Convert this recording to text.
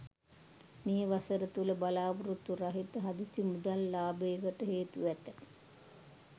මේ වසර තුළ බලාපොරොත්තු රහිත හදිසි මුදල් ලාබයකට හේතු ඇත.